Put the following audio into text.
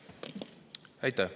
Aitäh!